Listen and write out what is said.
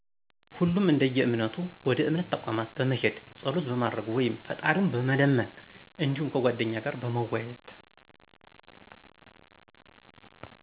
ሁሉም እደየእምነቱ ወደ እምነት ተቋማት በመሄድ ፀሎት በማድረግ ወይም ፍጣሪውን በመለመን እዲሁም ከጓደኛ ጋር በመወያየት።